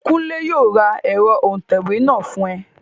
Kúnlé yóò ra ẹ̀rọ òǹtẹ̀wé náà fún ẹ